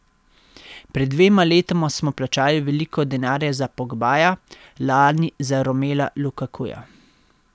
Pred dvema letoma smo plačali veliko denarja za Pogbaja, lani za Romela Lukakuja.